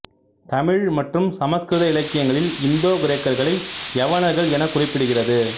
தமிழ் மற்றும் சமஸ்கிருத இலக்கியங்களில் இந்தோ கிரேக்கர்களை யவனர்கள் எனக் குறிப்பிடுகிறது